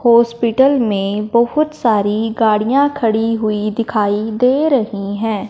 Hospital में बहोत सारी गाड़ियां खड़ी हुई दिखाई दे रही है।